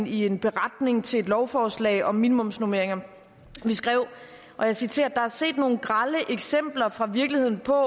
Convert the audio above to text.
i en beretning til lovforslaget om minimumsnormeringer vi skrev og jeg citerer der er set nogle grelle eksempler fra virkeligheden på